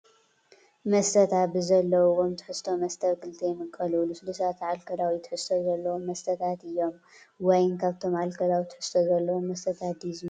መስተታት፡- ብዘለዎም ትሕዝቶ መስተታት ኣብ ክልተ ይምቀሉ፡፡ ልስሉሳትን ኣልኮላዊ ትሕዝቶ ዘለዎምን መስተታት እዩም፡፡ ዋይን ካብቶም ኣልኮላዊ ትሕዝቶ ዘለዎም መስተታት ድዩ ዝምደብ?